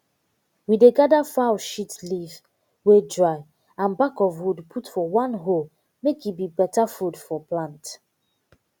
we dey gather fowl shit leaf wey dry and back of wood put for one hole make e be better food for plant